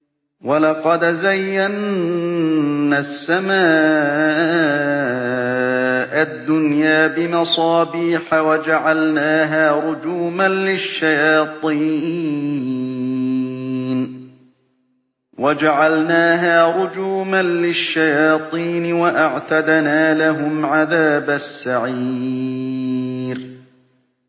وَلَقَدْ زَيَّنَّا السَّمَاءَ الدُّنْيَا بِمَصَابِيحَ وَجَعَلْنَاهَا رُجُومًا لِّلشَّيَاطِينِ ۖ وَأَعْتَدْنَا لَهُمْ عَذَابَ السَّعِيرِ